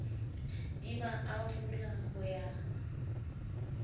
di ba arola ho ya